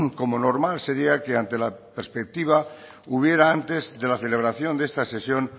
como normal sería que ante la perspectiva hubiera antes de la celebración de esta sesión